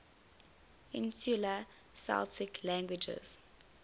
insular celtic languages